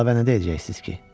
Əlavə nə deyəcəksiz?